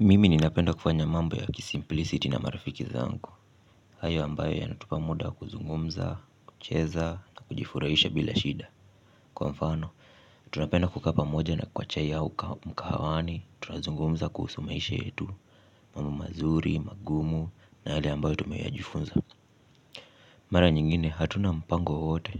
Mimi ninapenda kufanya mambo ya kisimplisiti na marafiki zangu. Hayo ambayo yanatupa muda wa kuzungumza, kucheza na kujifurahisha bila shida. Kwa mfano, tunapenda kukaa pamoja na kwa chai au mkahawani. Tunazungumza kuhusu maisha yetu. Mambo mazuri, magumu na yale ambayo tumeyajifunza. Mara nyingine hatuna mpango wowote